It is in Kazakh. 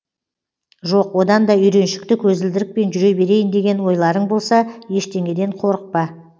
жоқ одан да үйреншікті көзілдірікпен жүре берейін деген ойларың болса ештеңеден қорықпа